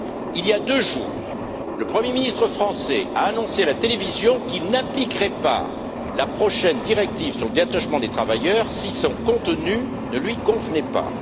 Il y a deux jours, le Premier ministre français a annoncé à la télévision qu'il n'appliquerait pas la prochaine directive sur le détachement des travailleurs si son contenu ne lui convenait pas.